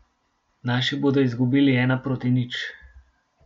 Naši bodo izgubili ena proti nič.